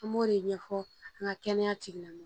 An m'o de ɲɛfɔ an ka kɛnɛya tigilamɔgɔw